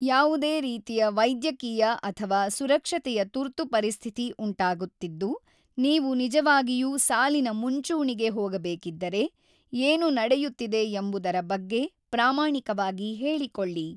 ಯಾವುದೇ ರೀತಿಯ ವೈದ್ಯಕೀಯ ಅಥವಾ ಸುರಕ್ಷತೆಯ ತುರ್ತು ಪರಿಸ್ಥಿತಿ ಉಂಟಾಗುತ್ತಿದ್ದು ನೀವು ನಿಜವಾಗಿಯೂ ಸಾಲಿನ ಮುಂಚೂಣಿಗೆ ಹೋಗಬೇಕಿದ್ದರೆ, ಏನು ನಡೆಯುತ್ತಿದೆ ಎಂಬುದರ ಬಗ್ಗೆ ಪ್ರಾಮಾಣಿಕವಾಗಿ ಹೇಳಿಕೊಳ್ಳಿ.